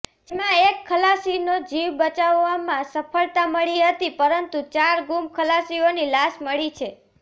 જેમાં એક ખલાસીનો જીવ બચાવવામાં સફળતા મળી હતી પરંતુ ચાર ગુમ ખલાસીઓની લાશ મળી છે